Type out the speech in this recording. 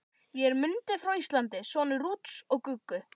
Ég er Mundi frá Íslandi, sonur Rúts og Guggu.